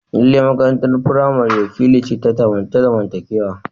Lallai makarantar firamare wakili ce ta zamantakewa.